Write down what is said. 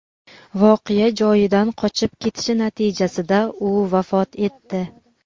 voqea joyidan qochib ketishi natijasida u vafot etdi.